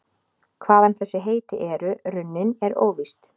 Hvaðan þessi heiti eru runnin er óvíst.